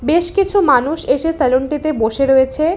বেশকিছু মানুষ এসে সেলুনটিতে বসে রয়েছে।